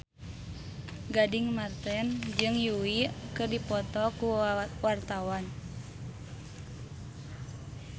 Gading Marten jeung Yui keur dipoto ku wartawan